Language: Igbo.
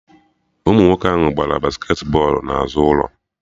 Ụmụ nwoke ahụ gbara basket bọlụ na azụ ụlọ